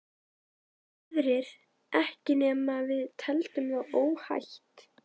Aðrir ekki ekki nema við teldum það óhætt.